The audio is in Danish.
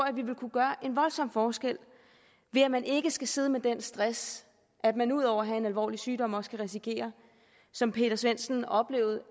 at vi vil kunne gøre en voldsom forskel ved at man ikke skal sidde med den stress at man ud over at have en alvorlig sygdom også kan risikere som peter svendsen oplevede